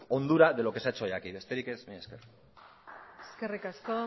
hondura de lo que se ha hecho hoy aquí besterik ez mila esker eskerrik asko